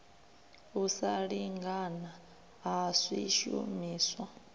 u sa lingana ha swishumiswa